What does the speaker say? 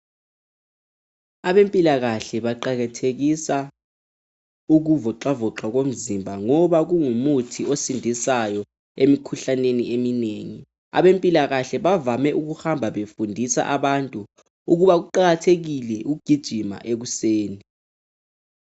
Abempilakahle baqakathekisa ukuvoxavoxa komzimba ngoba kungumuthi osindisayo emkhuhlaneni eminengi. Abempilakahle bavame ukuhamba befundisa abantu ukuba kuqakathekile ukugijima ekuseni